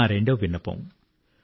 దేశవాసులతో నా రెండవ విన్నపం